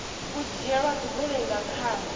u dzhielwa dzigoloi nga khani